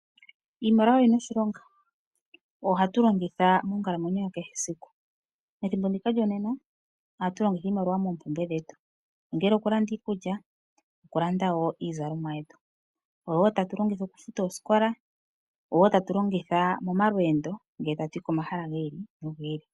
Iimaliwa oyina oshilonga. Oyo hatu longitha monkalamwenyo ya kehe esiku. Methimbo ndika lyonena oha tu longitha iimaliwa okulanda iikulya, iizalomwa , okufuta osikola nosho woo momalweendo ngele tatu yi komahala gi ili no gi ili.